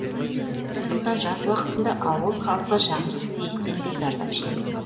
сондықтан жаз уақытында ауыл халқы жағымсыз иістен де зардап шегеді